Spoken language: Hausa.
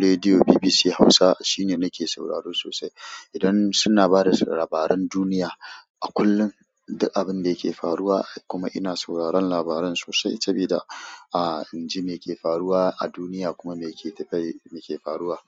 rediyo BBC Hausa shine nake sauraro sosai. Idan suna ba da labaran duniya a kullum da abin da yake faruwa, kuma ina sauraron labaran sosai sabida a in ji me ke faruwa a duniya kuma me ke tafiye, me ke faruwa.